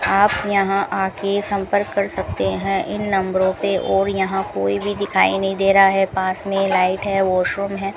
आप यहां आके संपर्क कर सकते है इन नंबरों पे और यहां कोई भी दिखाई नहीं दे रहा है पास में लाइट है वाश रूम है।